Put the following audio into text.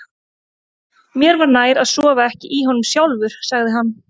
Mér var nær að sofa ekki í honum sjálfur, sagði hann.